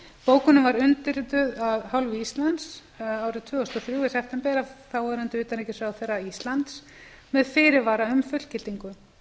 var undirrituð af hálfu íslands árið tvö þúsund og þrjú í september af þáverandi utanríkisráðherra íslands með fyrirvara um fullgildingu